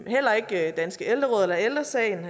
heller ikke dansk ældreråd eller ældre sagen